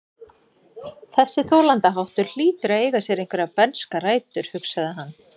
Þessi þolandaháttur hlýtur að eiga sér einhverjar bernskar rætur, hugsaði hann.